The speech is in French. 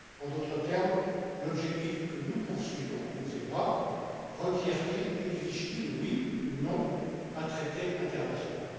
En d'autres termes, l'objectif que nous poursuivons, vous et moi, requiert il, exige t il, oui ou non un traité international?